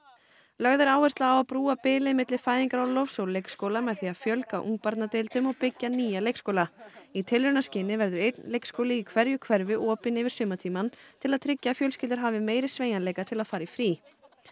lögð er áhersla á að brúa bilið milli fæðingarorlofs og leikskóla með því að fjölga ungbarnadeildum og byggja nýja leikskóla í tilraunaskyni verður einn leikskóli í hverju hverfi opinn yfir sumartímann til að tryggja að fjölskyldur hafi meiri sveigjanleika til að fara í frí